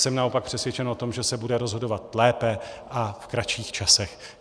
Jsem naopak přesvědčen o tom, že se bude rozhodovat lépe a v kratších časech.